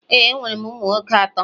ee, enwere m ụmụ nwoke atọ.